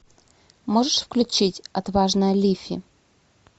можешь включить отважная лифи